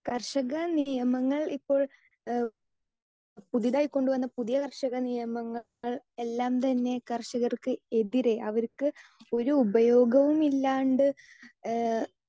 speaker 2 കർഷക നിയമങ്ങൽ ഇപ്പോൾ എഹ് പുതിയതായി കൊണ്ടുവന്ന പുതിയ കർഷക നിയമങ്ങൾ എല്ലാം തന്നെ കർഷകർക്ക് എതിരെ അവർക്ക് ഒരു ഉപയോഗവും ഇല്ലാണ്ട് ഏഹ്